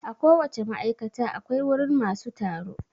A ko wace ma'aikata akwai wurin masu tsaro